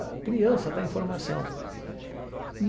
A criança tá em formação.